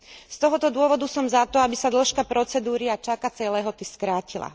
Z tohto dôvodu som za to, aby sa dĺžka procedúry a čakacej lehoty skrátila.